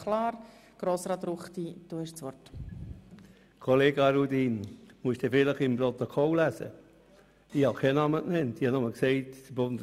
Ich sprach nur von einem Bundesrat,